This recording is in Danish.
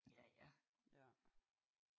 Ja ja